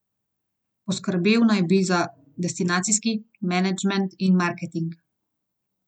Poskrbel naj bi za destinacijski menedžment in marketing.